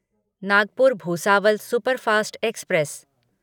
Nagpur Bhusawal superfast express